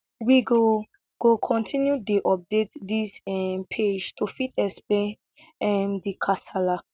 we go go continue dey update dis um page to fit explain um di kasala